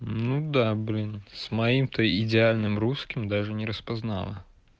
ну да блин с моим то идеальным русским даже не распознала